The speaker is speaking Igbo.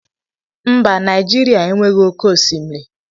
Mba! Naịjirịa enweghị oké osimiri.